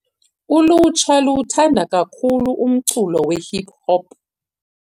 Ulutsha luwuthanda kakhulu umculo wehip-hop.